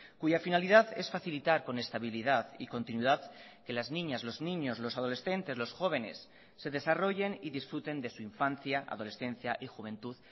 cuya finalidad es facilitar con estabilidad y continuidad que las niñas los niños los adolescentes los jóvenes se desarrollen y disfruten de su infancia adolescencia y juventud